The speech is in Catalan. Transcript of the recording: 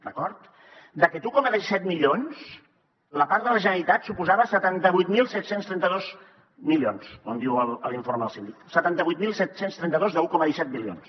d’acord d’aquest un coma disset milions la part de la generalitat suposava setanta vuit mil set cents i trenta dos milions com diu l’informe del síndic setanta vuit mil set cents i trenta dos d’un coma disset bilions